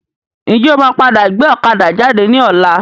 Ǹjẹ́ o máa padà gbé ọ̀kadà jáde ní ọ̀la?